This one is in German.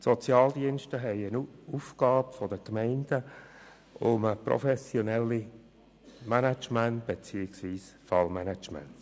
Die Sozialdienste sind von den Gemeinden beauftragt, ein professionelles Fallmanagement zu betreiben.